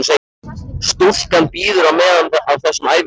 Stúlkan bíður á meðan á þessum æfingum stendur.